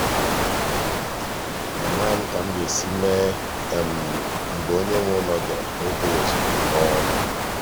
amaghị m ka m ga-esi mee mgbe onye nwe ụlọ bịara n'ebughị ụzọ kpọọ.